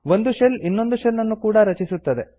ಒಂದು ಶೆಲ್ ಇನ್ನೊಂದು ಶೆಲ್ ನ್ನು ಕೂಡ ರಚಿಸುತ್ತದೆ